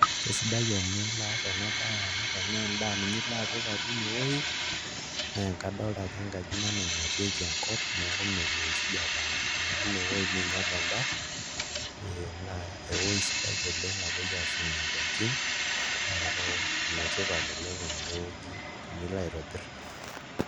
Kesidai enilo aas ena baye amu tenaa endaa ninye ilo apik enewuei naa kadolta ajo enkaji ina naing'atieki enko neeku melo enkijapa aimu inewuei niinyial endaa ee naa ewuei sidai oleng' napuoi aashumie ndaikin, neeku enetipata oleng' enewueji tenilo aitobirr.